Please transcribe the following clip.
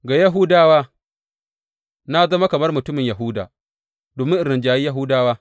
Ga Yahudawa na zama kamar mutumin Yahuda, domin in rinjayi Yahudawa.